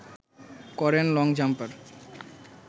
করেন long jumper